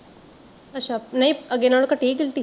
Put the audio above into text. ਅੱਛਾ ਨਹੀਂ ਅੱਗੇ ਨਾਲੋਂ ਘਟੀ ਐ ਗਿਲਟੀ